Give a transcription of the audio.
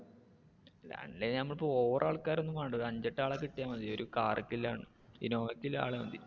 അല്ലേലും നമുക്ക് over ആൾക്കാര് ഒന്നും വേണ്ട. ഒരു അഞ്ചെട്ട് ആളെ കിട്ടിയാൽ മതി. ഒരു car ക്ക് ഉള്ള ഇന്നോവക്ക് ഉള്ള ആള് മതി